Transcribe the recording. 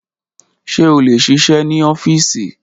Ṣe o le ṣiṣẹ ni ọfiisi?